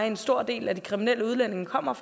en stor del af de kriminelle udlændinge kommer